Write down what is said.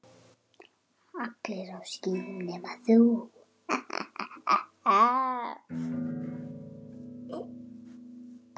Allir á skíðum nema þú.